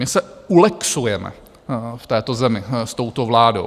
My se ulexujeme v této zemi s touto vládou!